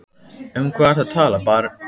Um hvað ertu að tala barn?